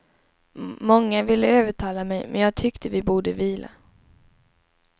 Många ville övertala mig men jag tyckte vi borde vila.